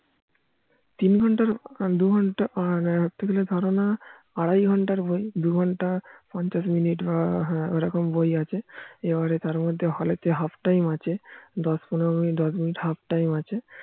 তিন ঘন্টার দু ঘন্টা আর ধরতে গেলে ধারণা আড়াই ঘন্টার বই দু ঘন্টা পঞ্চাশ মিনিট বা ওই ওরকম নোই আছে এবারে তার মধ্যে হলে যে হাফ টাইম আছে দশ পনেরো মিনিট half time আছে